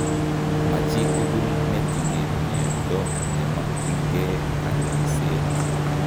Ma chitugul netinye miondo komakyinkee kanyoiseet